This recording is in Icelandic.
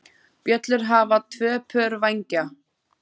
Bjöllur hafa tvö pör vængja.